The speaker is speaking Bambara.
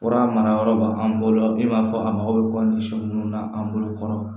Fura mara yɔrɔ b'a an bolo i n'a fɔ a mago bɛ kɔ ni sɔ munnu na an bolo kɔrɔ